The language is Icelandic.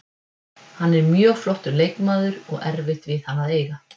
Hann er mjög flottur leikmaður og erfitt við hann að eiga.